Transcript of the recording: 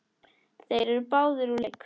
Þeir eru báðir úr leik.